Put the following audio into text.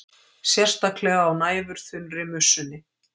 Sérstaklega á næfurþunnri mussunni.